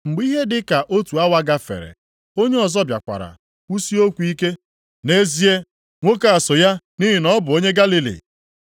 Mgbe ihe dị ka otu awa gafere, onye ọzọ bịakwara kwusie okwu ike, “Nʼezie, nwoke a so ya nʼihi na ọ bụ onye Galili.”